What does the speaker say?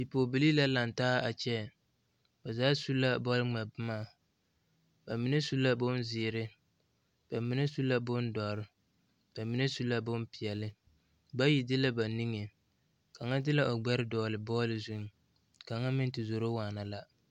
Bipɔgebilii la lantaa a kyɛ ba zaa su la bɔl ŋmɛ boma ba mine su la boŋ zeere ba mine su la boŋ dɔre ba mine su la bompeɛle bayi de la ba niŋe kaŋa de la o gbɛre dɔgle bɔl zuŋ kaŋa meŋ te zoro waana la.